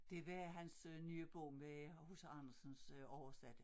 Det var hans øh nye bog med H C Andersens øh oversatte